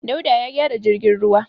Dauda ya gyara jirgin ruwa.